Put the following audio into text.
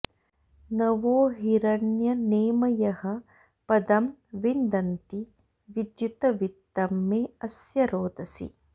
न वो हिरण्यनेमयः पदं विन्दन्ति विद्युत वित्तं मे अस्य रोदसी